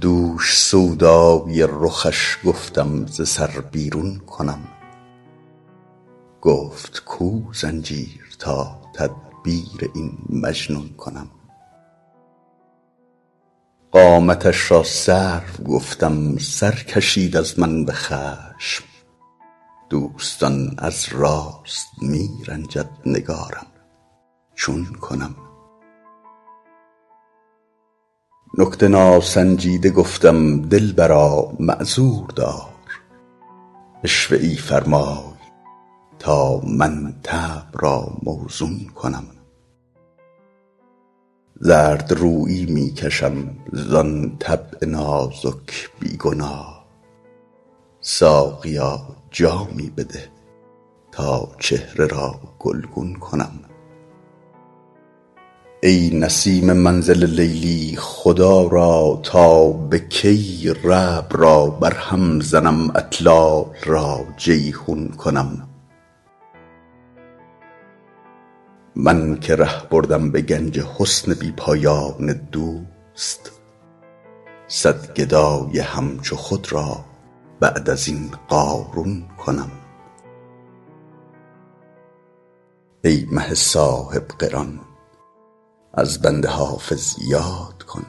دوش سودای رخش گفتم ز سر بیرون کنم گفت کو زنجیر تا تدبیر این مجنون کنم قامتش را سرو گفتم سر کشید از من به خشم دوستان از راست می رنجد نگارم چون کنم نکته ناسنجیده گفتم دلبرا معذور دار عشوه ای فرمای تا من طبع را موزون کنم زردرویی می کشم زان طبع نازک بی گناه ساقیا جامی بده تا چهره را گلگون کنم ای نسیم منزل لیلی خدا را تا به کی ربع را برهم زنم اطلال را جیحون کنم من که ره بردم به گنج حسن بی پایان دوست صد گدای همچو خود را بعد از این قارون کنم ای مه صاحب قران از بنده حافظ یاد کن